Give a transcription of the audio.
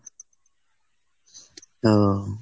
ও।